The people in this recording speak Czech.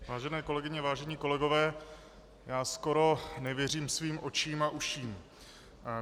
Vážené kolegyně, vážení kolegové, já skoro nevěřím svým očím a uším.